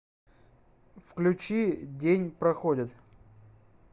включи день проходит